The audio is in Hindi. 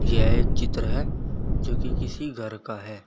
यह चित्र जो कि किसी घर का है।